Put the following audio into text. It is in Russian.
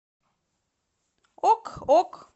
ок ок